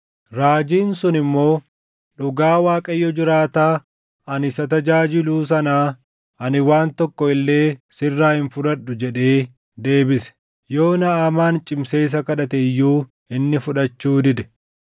Raajiin sun immoo, “Dhugaa Waaqayyo jiraataa ani isa tajaajiluu sanaa, ani waan tokko illee sirraa hin fudhadhu” jedhee deebise. Yoo Naʼamaan cimsee isa kadhate iyyuu inni fudhachuu dide.